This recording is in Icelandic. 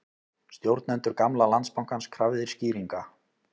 Stjórnendur gamla Landsbankans krafðir skýringa